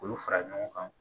K'olu fara ɲɔgɔn kan